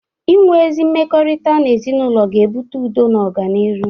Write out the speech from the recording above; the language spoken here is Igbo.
Ị nwe ezi mmekọrịta n'ezinaụlọ ga-ebụte udo na ọganịrụ.